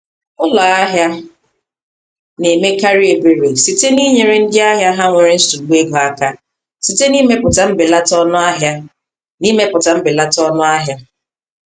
Ụlọ ahịa na-emekarị ebere site n’inyere ndị ahịa ha nwere nsogbu ego aka site n’imepụta mbelata ọnụahịa. n’imepụta mbelata ọnụahịa.